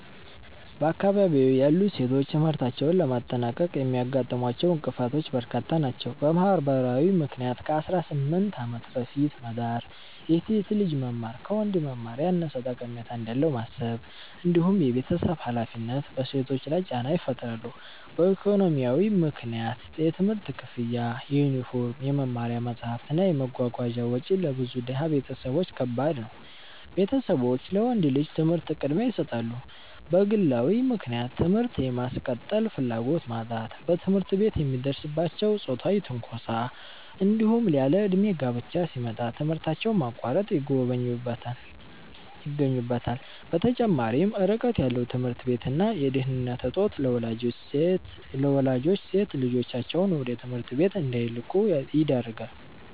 በአካባቢዬ ያሉ ሴቶች ትምህርታቸውን ለማጠናቀቅ የሚያጋጥሟቸው እንቅፋቶች በርካታ ናቸው። በማህበራዊ ምክንያት ከ18 ዓመት በፊት መዳር፣ የሴት ልጅ መማር ከወንድ መማር ያነሰ ጠቀሜታ እንዳለው ማሰብ፣ እንዲሁም የቤተሰብ ሃላፊነት በሴቶች ላይ ጫና ይፈጥራሉ። በኢኮኖሚያዊ ምክንያት የትምህርት ክፍያ፣ የዩኒፎርም፣ የመማሪያ መጽሐፍት እና የመጓጓዣ ወጪ ለብዙ ድሃ ቤተሰቦች ከባድ ነው፤ ቤተሰቦች ለወንድ ልጅ ትምህርት ቅድሚያ ይሰጣሉ። በግለዊ ምክንያት ትምህርት የማስቀጠል ፍላጎት ማጣት፣ በትምህርት ቤት የሚደርስባቸው ጾታዊ ትንኮሳ፣ እንዲሁም ያለእድሜ ጋብቻ ሲመጣ ትምህርታቸውን ማቋረጥ ይገኙበታል። በተጨማሪም ርቀት ያለው ትምህርት ቤት እና የደህንነት እጦት ለወላጆች ሴት ልጆቻቸውን ወደ ትምህርት ቤት እንዳይልኩ ያደርጋል።